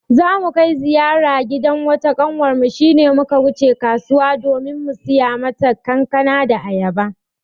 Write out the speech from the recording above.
Za mu kai ziyara gidan wata ƙawarmu shi ne muka wuce kasuwa domin mu siyo mata kankana da ayaba.